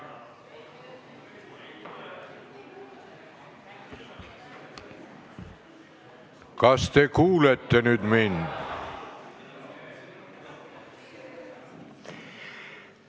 Kas te kuulete nüüd mind?